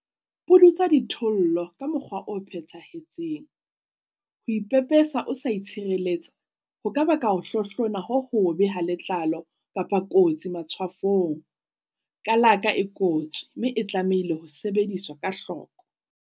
Pudutsa dithollo ka mokgwa o phethahetseng. Ho ipepesa o sa itshireletsa ho ka baka ho hlohlona ho hobe ha letlalo kapa kotsi matshwafong. Kalaka e kotsi, mme e tlamehile ho sebediswa ka hloko.